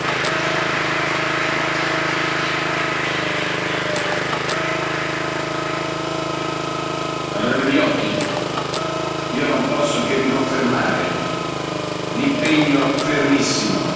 Onorevole Viotti, io non posso che riconfermare l'impegno fermissimo del Parlamento europeo, che rappresenta mezzo miliardo di cittadini europei